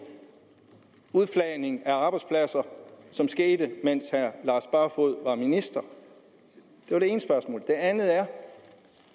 udflagning af arbejdspladser som skete mens herre lars barfoed var minister det andet spørgsmål er